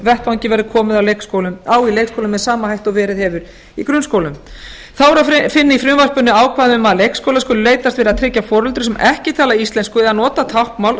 vettvangi verði komið á í leikskólum með sama hætti og verið hefur í grunnskólum þá er að finna í frumvarpinu ákvæði um að leikskólar skuli leitast við að tryggja foreldrum sem ekki tala íslensku eða nota táknmál